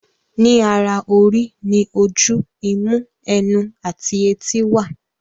Ní ara orí ní oju, imú, ẹnu, àti etí wà.